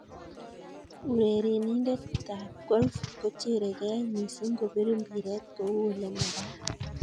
Urerenindetab golf kocherekeei mising kobir mpireet kou ole makaat